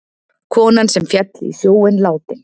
Konan sem féll í sjóinn látin